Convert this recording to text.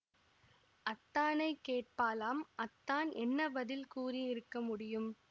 அத்தானைக் கேட்பாளாம் அத்தான் என்ன பதில் கூறி இருக்க முடியும்